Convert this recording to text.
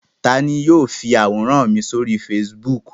Ta ni yóò fi àwòrán mi sórí Facebook?